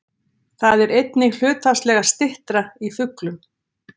Það er einnig hlutfallslega styttra í fuglum.